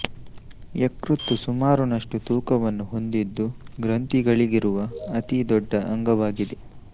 ಯಕೃತ್ತು ಸುಮಾರು ನಷ್ಟು ತೂಕವನ್ನು ಹೊಂದಿದ್ದು ಗ್ರಂಥಿಗಳಿರುವ ಅತಿ ದೊಡ್ಡ ಅಂಗವಾಗಿದೆ